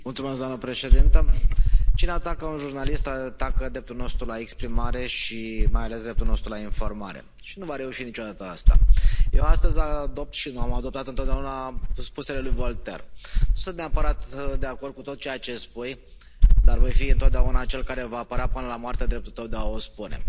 Doamnă președintă, cine atacă un jurnalist atacă dreptul nostru la exprimare și mai ales dreptul nostru la informare și nu va reuși niciodată asta. Eu astăzi adopt și am adoptat întotdeauna spusele lui Voltaire nu sunt neapărat de acord cu tot ceea ce spui, dar voi fi întotdeauna cel care va apăra până la moarte dreptul tău de a o spune.